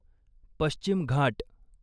पश्चिम घाट